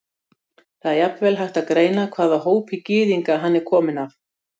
Það er jafnvel hægt að greina hvaða hópi gyðinga hann er kominn af.